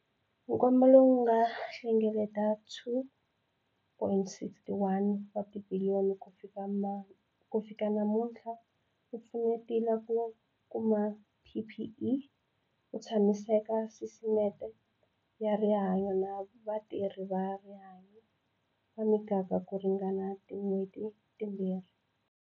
Nkwama lowu nga hlengeleta R2,61 wa tibiliyoni ku fika namutlha, wu pfunetile ku kuma PPE ku tshamisekisa sisiteme ya rihanyo na vatirhi va rihanyo va miganga ku ringana tin'hweti timbirhi.